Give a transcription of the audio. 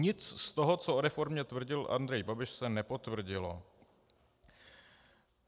Nic z toho, co o reformě tvrdil Andrej Babiš, se nepotvrdilo.